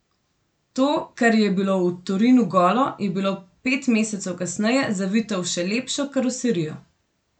To, kar je bilo v Torinu golo, je bilo pet mesecev kasneje zavito v še lepšo karoserijo.